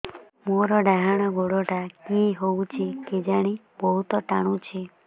ମୋର୍ ଡାହାଣ୍ ଗୋଡ଼ଟା କି ହଉଚି କେଜାଣେ ବହୁତ୍ ଟାଣୁଛି